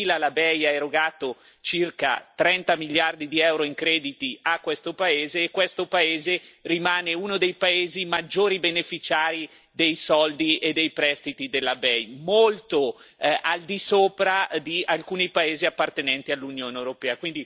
Dal 2000 la BEI ha erogato circa 30 miliardi di EUR in crediti a questo paese, e questo paese rimane uno dei maggiori beneficiari dei soldi e dei prestiti della BEI, molto al di sopra di alcuni paesi appartenenti all'Unione europea.